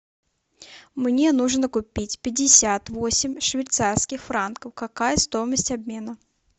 мне нужно купить пятьдесят восемь швейцарских франков какая стоимость обмена